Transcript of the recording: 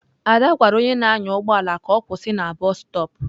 Ada gwara onye na-anya ụgbọ ala ka ọ kwụsị na bọstop.